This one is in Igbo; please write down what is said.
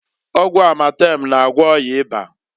Ọgwụ amatem na-agwọ ọya ịba.